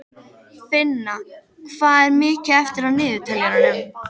Finna, hvað er mikið eftir af niðurteljaranum?